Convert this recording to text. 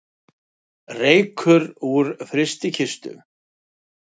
Reykur úr frystikistu